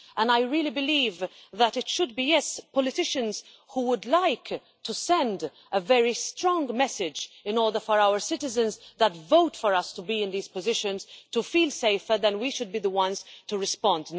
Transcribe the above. And I really believe, yes, that politicians, who would like to send a very strong message in order for our citizens who vote for us to be in these positions to feel safer, that we should be the ones to respond.